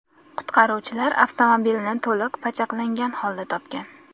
Qutqaruvchilar avtomobilni to‘liq pachaqlangan holda topgan.